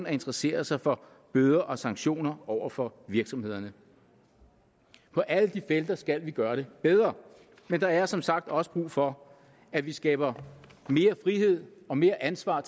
at interessere sig for bøder og sanktioner over for virksomhederne på alle de felter skal vi gøre det bedre men der er som sagt også brug for at vi skaber mere frihed og mere ansvar